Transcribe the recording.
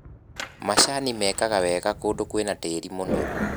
Macani mekaga wega kũndũ kwĩna tĩri mũnoru.